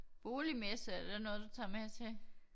Boligmesse er det noget du tager med til?